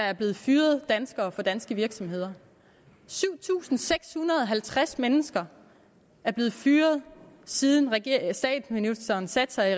er blevet fyret danskere fra danske virksomheder syv tusind seks hundrede og halvtreds mennesker er blevet fyret siden statsministeren satte sig